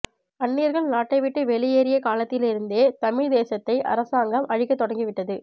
அன்னியர்கள் நாட்டைவிட்டு வெளியேறிய காலத்திலிருந்தே தமிழ்த் தேசத்தை அரசாங்கம் அழிக்கத் தொடங்கவிட்டது